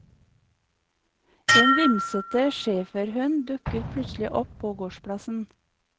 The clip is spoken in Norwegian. En vimsete schæferhund dukker plutselig opp på gårdsplassen.